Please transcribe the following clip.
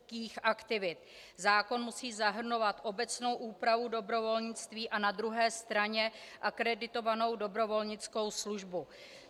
Zákon musí zahrnovat obecnou úpravu dobrovolnictví a na druhé straně akreditovanou dobrovolnickou službu.